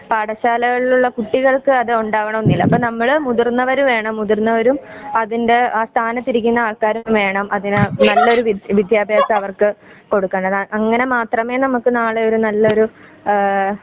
പാഠശാലകളിലുള്ള കുട്ടികൾക്കു അത് ഉണ്ടാവണമെന്നില്ല. അപ്പോൾ നമ്മള് മുതിര്ന്നവര് വേണം മുതിർന്നവരും. അതിന്റെ ആ സ്ഥാനത്തിരിക്കുന്ന ആൾക്കാരും വേണം നല്ലൊരു വിദ്ത്യഭ്യസമവർക്കു കൊടുക്കേണ്ടത് അങനെ മാത്രമേ നമുക്ക് നാളെയൊരു നല്ലൊരു